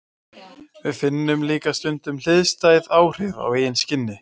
Við finnum líka stundum hliðstæð áhrif á eigin skinni.